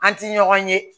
An ti ɲɔgɔn ye